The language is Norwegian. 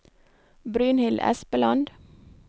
Brynhild Espeland